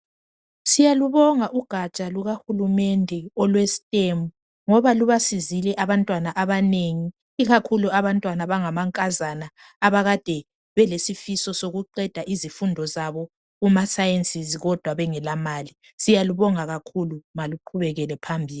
Siyalubonga ugatsha lukahulumende olwe stem ngoba lubasizile abantwana abanengi ikakhulu abantwana abanga mankazana abakadebelesifiso sokuqesa izifundo zabo kumaSciences kodwa bengelamali siyalubonga kakhulu maluqubekele phambili